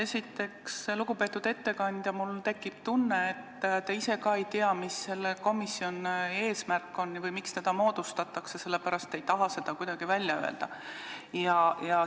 Esiteks, lugupeetud ettekandja, mul tekib tunne, et te ise ka ei tea, mis on selle komisjoni eesmärk või miks seda moodustatakse, sellepärast te ei taha seda kuidagi välja öelda.